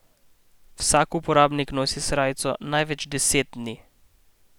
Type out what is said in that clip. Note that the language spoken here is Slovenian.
Vsak uporabnik nosi srajco največ deset dni.